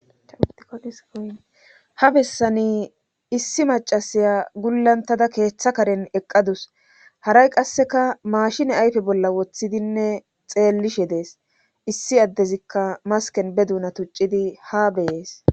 ha bessani issi macasiya gullantada keeththa karen eqqadus haray qasseka maashine ayfe bolla woththidinne xeellishe dees issi addezikka masken be duuna tuccidi ha beyees